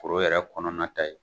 Koro yɛrɛ kɔnɔna ta ye